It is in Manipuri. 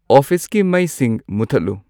ꯑꯣꯐꯤꯁꯀꯤ ꯃꯩꯁꯤꯡ ꯃꯨꯠꯊꯠꯂꯨ